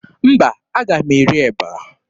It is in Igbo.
Mba, aga m eri eba.